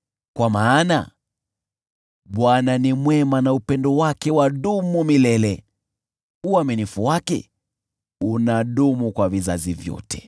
Kwa maana Bwana ni mwema na upendo wake wadumu milele; uaminifu wake unadumu kwa vizazi vyote.